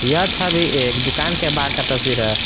यह छवि एक दुकान के बाहर का तस्वीर है।